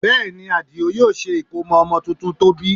Bẹ́ẹ̀ ni, Àdìó yóò ṣe ìkómọ ọmọ tuntun tó bí